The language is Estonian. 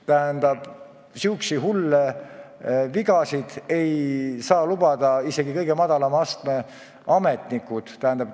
Sääraseid hulle vigasid ei saa endale lubada isegi kõige madalama astme ametnikud.